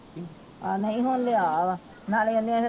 ਆਹੋ ਨਹੀਂ ਹੁਣ ਲਿਆ ਵਾ ਨਾਲੇ ਓਹਨੇ